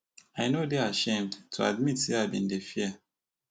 i no dey ashamed to admit say i bin dey fear